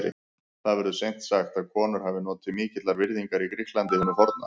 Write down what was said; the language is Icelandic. Það verður seint sagt að konur hafi notið mikillar virðingar í Grikklandi hinu forna.